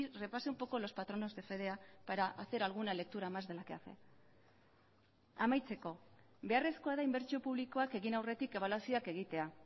repase un poco los patronos de fedea para hacer alguna lectura más de la que hace amaitzeko beharrezkoa da inbertsio publikoak egin aurretik ebaluazioak egitea